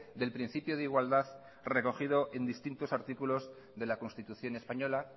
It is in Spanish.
del principio de igualdad recogido en distintos artículos de la constitución española